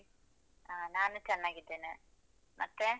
ಹ ನಾನು ಚೆನ್ನಾಗಿದ್ದೇನೆ. ಮತ್ತೆ?